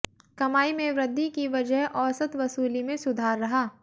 कमाई में वृद्धि की वजह औसत वसूली में सुधार रहा